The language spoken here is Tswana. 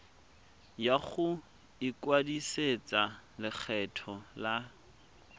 ya go ikwadisetsa lekgetho la